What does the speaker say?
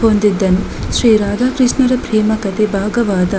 ಹೊಂದಿದ್ದನು ಶ್ರೀ ರಾಧಾಕೃಷ್ಣರ ಪ್ರೇಮ ಕಥೆ ಭಾಗವಾದ --